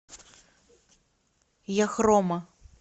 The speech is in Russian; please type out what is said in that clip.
яхрома